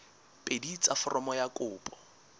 pedi tsa foromo ya kopo